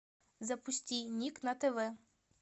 запусти ник на тв